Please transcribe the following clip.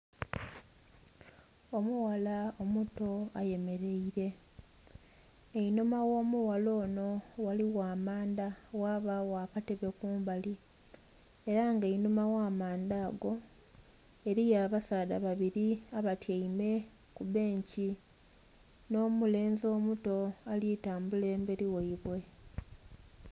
Omughala omuto ayemereire einhuma gho omughala onho ghaligho amanda ghabagho akatebe kumbali era nga einhuma gha manda ago, eriyo abasaadha babiri abatyaime ku bbenkii nho mulenzi omuto alitambula emberi ghaibwe.